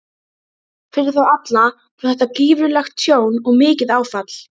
Fyrir þá alla var þetta gífurlegt tjón og mikið áfall.